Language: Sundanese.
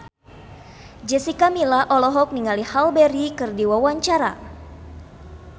Jessica Milla olohok ningali Halle Berry keur diwawancara